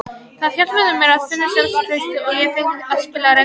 Það hjálpaði mér að finna sjálfstraustið og ég fékk að spila reglulega.